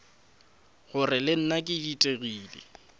gore le nna ke ditelegile